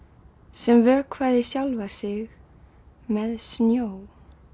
sem vökvaði sjálfa sig með snjó